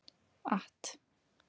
att